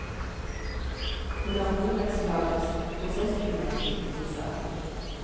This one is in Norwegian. Hun er borettslagets prosessfullmektig i saken.